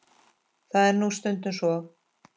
Það er nú stundum svo.